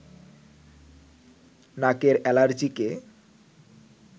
নাকের এলার্জিকে